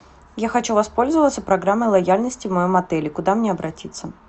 я хочу воспользоваться программой лояльности в моем отеле куда мне обратиться